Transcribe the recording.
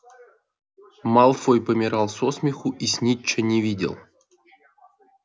малфой помирал со смеху и снитча не видел